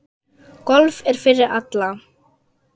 Golf er fyrir alla